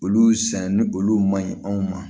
Olu san ni olu ma ɲi anw ma